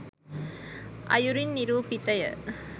අයුරින් නිරූපිතය.